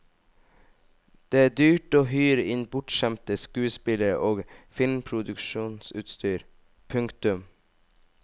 Det er dyrt å hyre inn bortskjemte skuespillere og filmproduksjonsutstyr. punktum